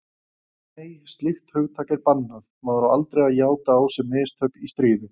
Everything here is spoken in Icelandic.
Nei, slíkt hugtak er bannað, maður á aldrei að játa á sig mistök í stríði.